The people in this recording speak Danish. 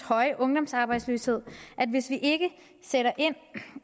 høje ungdomsarbejdsløshed at hvis vi ikke sætter